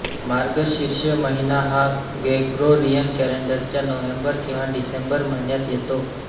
मार्गशीर्ष महिना हा ग्रेगोरियन कॅलेंडरच्या नोव्हेंबर किंवा डिसेंबर महिन्यात येतो